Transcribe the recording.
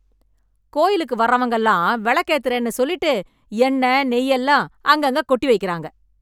கோயிலுக்கு வர்றவங்க எல்லாம் விளக்கு ஏத்துற சொல்லிட்டு என்ன நெய் எல்லாம் அங்க அங்க கொட்டி வைக்கிறாங்க